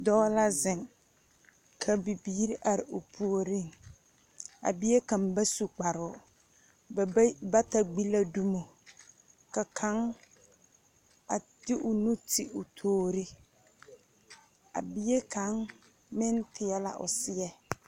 Dɔɔ la zeŋ, ka bibiiri are o puoriŋ, a bie kaŋ ba su kparoo, ba bayi bata gbi la dumo, ka kaŋ a de o nu ti o toori, a bie kaŋ meŋ teɛ la o seɛ. 13432